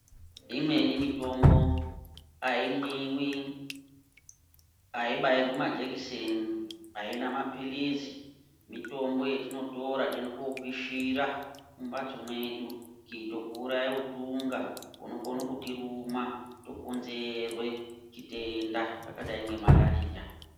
Imweni mitombo ayimwiwi, ayibairwi majekiseni, aina mapilizi, mitombo yetinotora teienda kopishira mumbatso mwedu kuitira kuuraya utunga hunokona kutiruma hwokonzera chitenda chakadai ngemalariya.